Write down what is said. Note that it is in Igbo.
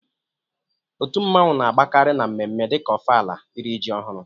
Otu nmanwu na agbakarị na mme mme dika Ofala, iri ji ọhụrụ